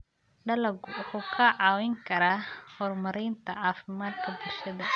Dalaggu wuxuu kaa caawin karaa horumarinta caafimaadka bulshada.